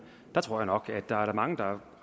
jeg tror nok at der er mange der